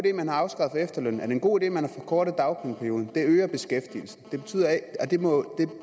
at man har afskaffet efterlønnen er det en god idé at man har forkortet dagpengeperioden det øger beskæftigelsen